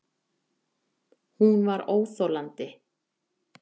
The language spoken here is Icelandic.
Hún var óþolandi.